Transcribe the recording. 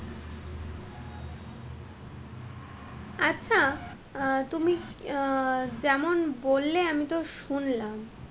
আচ্ছা, আহ তুমি আহ যেমন বললে আমি তো শুনলাম,